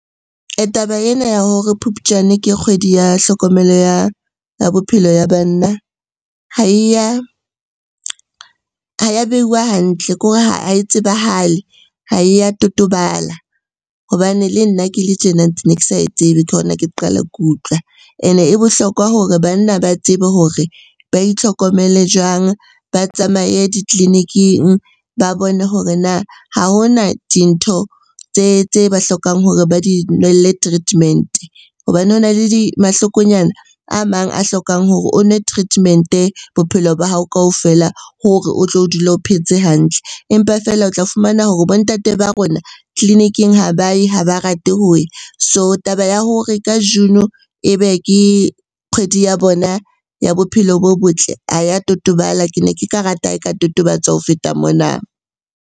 Taba ena ya hore Phupjane ke kgwedi ya tlhokomelo ya bophelo ya banna ha e ya behuwa hantle, kore ha e tsebahale, ha e ya totobala. Hobane le nna ke le tjena ne ke sa e tsebe, ke hona ke qala ke utlwa. Ene e bohlokwa hore banna ba tsebe hore ba itlhokomele jwang? Ba tsamaye ditleliniking, ba bone hore na ha hona dintho tse ba hlokang hore ba di nwelle treatment-e hobane ho na le mahloko nyana a mang a hlokang hore o nwe treatment-e bophelo ba hao kaofela hore o tlo dula o phetse hantle. Empa feela o tla fumana hore bo ntate ba rona tleliniking ha ba ye, ha ba rate ho ya. So taba ya hore ka June ebe ke kgwedi ya bona ya bophelo bo botle ha ya totobala, ke ne ke ka rata ha e ka totobatswa ho feta mona.